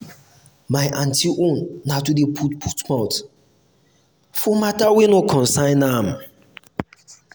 my aunty own na to dey put put mouth for mata wey no concern am.